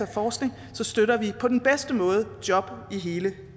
forskning støtter vi på den bedste måde job i hele